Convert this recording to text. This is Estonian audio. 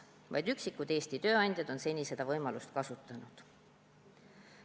Vaid üksikud Eesti tööandjad on seni seda võimalust kasutanud.